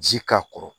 Ji k'a kɔrɔ